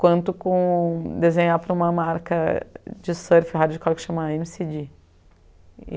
Quanto com desenhar para uma marca de surf, radical, que se chama eme cê dê.